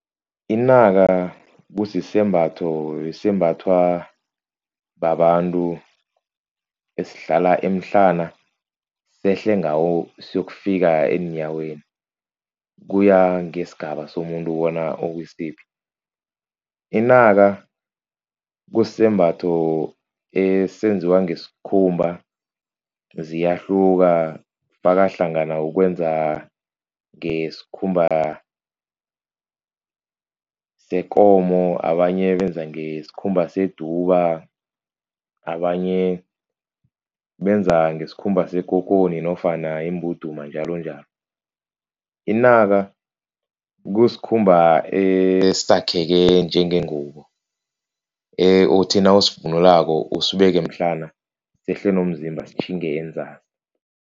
Inaka kusisembatho esembathwa babantu, esihlala emhlana sehle ngawo siyokufika eenyaweni, kuya ngesigaba somuntu bona ukwisiphi. Inaka kusisembatho esenziwa ngesikhumba, ziyahluka kufaka hlangana ukwenza ngesikhumba sekomo, abanye benza ngesikhumba seduba, abanye benza ngesikhumba sekokoni nofana imbuduma njalonjalo. Inaka kusikhumba esakheke njengengubo uthi nawusivunulako usibeke emhlana sehle nomzimba sitjhinge enzasi.